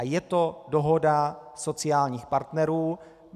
A je to dohoda sociálních partnerů.